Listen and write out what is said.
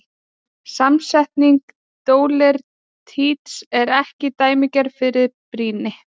Samsetning dóleríts er ekki dæmigerð fyrir góð brýni.